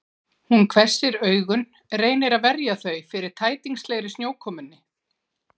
Hún hvessir augun, reynir að verja þau fyrir tætingslegri snjókomunni.